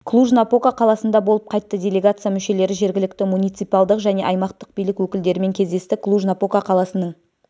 клуж-напока қаласында болып қайтты делегация мүшелері жергілікті муниципалдық және аймақтық билік өкілдерімен кездесті клуж-напока қаласының